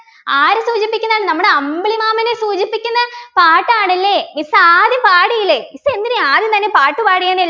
ആരെ സൂചിപ്പിക്കുന്നാണ് നമ്മുടെ അമ്പിളിമാമനെ സൂചിപ്പിക്കുന്ന പാട്ടാണ് അല്ലേ miss ആദ്യം പാടിയില്ലേ miss എന്തിനാ ആദ്യം തന്നെ പാട്ട് പാടിയെന്നെൽ